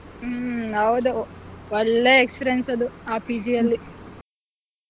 ಹ್ಮ್ ಹೌದು ಒಳ್ಳೆ experience ಅದು ಆ PG ಅಲ್ಲಿ.